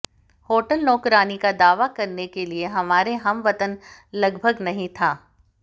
hotel नौकरानी का दावा करने के लिए हमारे हमवतन लगभग नहीं था